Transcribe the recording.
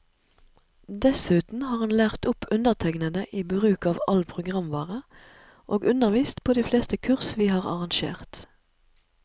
Dessuten har han lært opp undertegnede i bruk av all programvare, og undervist på de fleste kurs vi har arrangert.